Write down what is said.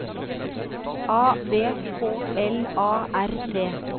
A V K L A R T